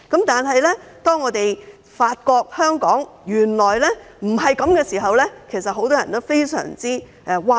當發現香港原來不是這樣的時候，很多人都非常譁然。